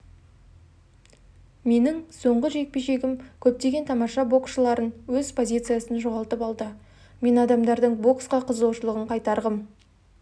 менің соңғы жекпе-жегім көптеген тамаша боксшыларын өз позициясын жоғалтып алды мен адамдардың боксқа қызығушылығын қайтарғым